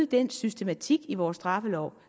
den systematik i vores straffelov